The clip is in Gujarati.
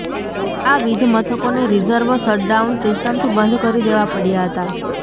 આ વીજમથકોને રિઝર્વ શટડાઉન સિસ્ટમથી બંધ કરી દેવા પડ્યાં હતાં